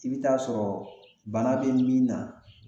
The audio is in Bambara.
I bi taa sɔrɔ bana be min na